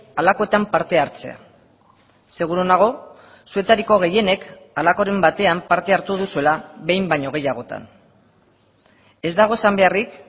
halakoetan parte hartzea seguru nago zuetariko gehienek halakoren batean parte hartu duzuela behin baino gehiagotan ez dago esan beharrik